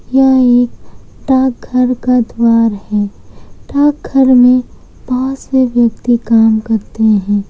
यह एक डाक घर का द्वार है डाकघर में बहुत से व्यक्ति काम करते हैं।